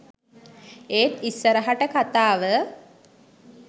ඒත් ඉස්සරහට කතාව